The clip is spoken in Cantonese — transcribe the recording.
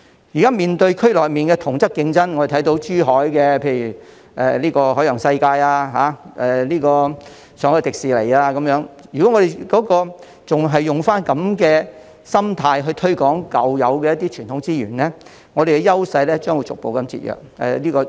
現在面對區內的同質競爭，例如珠海的海洋世界，上海的迪士尼樂園等，如果我們仍然用這種心態來推廣舊有的傳統資源，我們的優勢將會逐步被削弱。